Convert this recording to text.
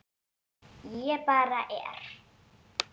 Ég bara er.